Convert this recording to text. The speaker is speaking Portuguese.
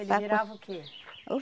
Ele virava o quê?